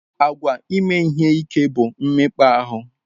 Àgwà ime ihe ike bụ mmekpa ahụ.